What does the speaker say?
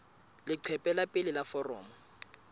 leqephe la pele la foromo